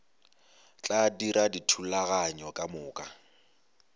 tla dira dithulaganyo ka moka